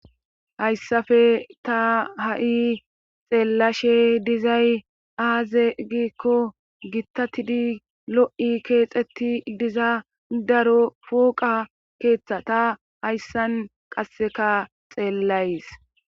Hayssafe ta ha7i xeellashe dizay aaze giikko gittatidi lo7i keexetti diza daro fuuqa keeththa ta hayssan qasseka xeellays